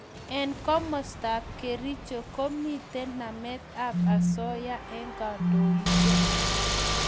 Eng' komasta ab kericho ko mito namet ab asoya eng' kandoishek